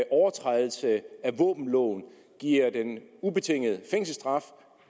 overtrædelse af våbenloven giver en ubetinget fængselsstraf